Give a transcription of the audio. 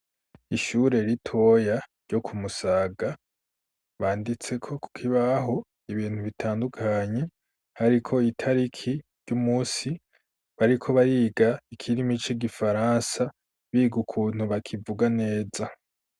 Ishure ritoya ryo kumusaga banditseko ku kibaho ibintu bitandukanye hariko itariki ry'umunsi, bariko bariga ikirimi c'igifaransa biga ukuntu bakivuga neza.